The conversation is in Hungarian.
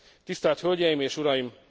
Tisztelt hölgyeim és uraim!